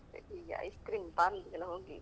ಈಗ ice cream parlour ಎಲ್ಲಾ ಹೋಗಿ